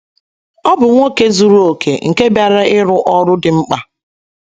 Ọ BỤ nwoke zuru okè nke bịara ịrụ ọrụ dị mkpa.